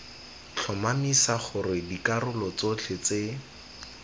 tlhomamisa gore dikarolo tsotlhe tse